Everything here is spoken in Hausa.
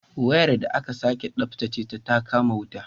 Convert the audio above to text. Wayar da aka sake tsabtace ta kama wuta